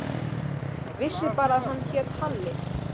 Vissi bara að hann hét Halli.